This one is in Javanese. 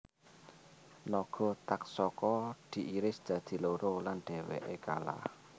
Naga Taksaka diiris dadi loro lan dheweke kalah